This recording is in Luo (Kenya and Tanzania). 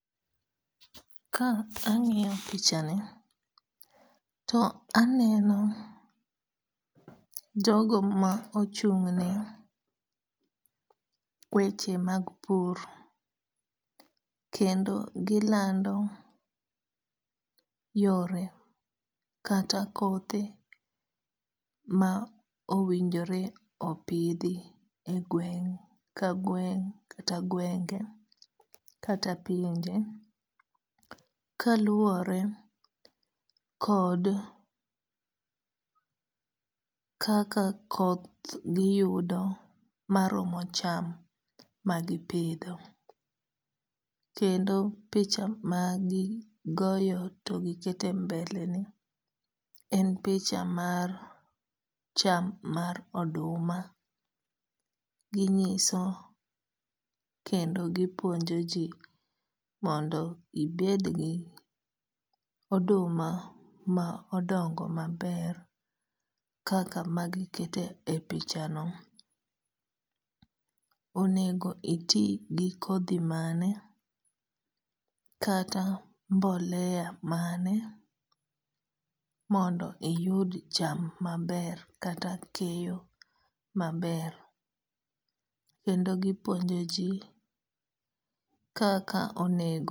Ka ang'iyo pichani, to aneno jogo ma ochung' ne weche mag pur kendo gilando yore kata kothe ma owinjore opidhi e gweng' ka gweng' kata gwenge kata pinje kaluwore kod kaka koth giyudo maromo cham magipidho. Kendo picha magigoyo to giketo e mbele ni en picha mar cham mar oduma ginyiso kendo gipuonjoji mondo ibed gi oduma ma odongo maber kaka magiketo e pichano. Onego iti gi kodhi mane, kata mbolea mane mondo iyud cham maber kata keyo maber. Kendo gipuonjoji kaka onego